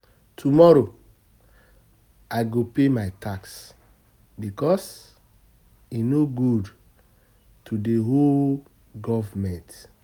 Tomorrow, I go pay my tax because e no good to dey owe government.